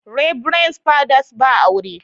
Reberend Father's ba aure.